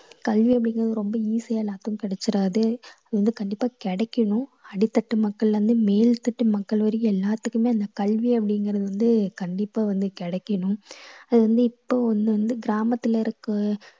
கல்வி அப்படிங்கறது ரொம்ப easy யா எல்லாத்துக்கும் கிடைச்சுடாது வந்து கண்டிப்பா கிடைக்கணும். அடித்தட்டு மக்களிலேருந்து மேல் தட்டு மக்கள் வரைக்கும் எல்லாத்துக்குமே இந்த கல்வி அப்படிங்கறது வந்து கண்டிப்பா வந்து கிடைக்கணும். அது வந்து இப்போ ஒண்ணு வந்து கிராமத்துல இருக்க~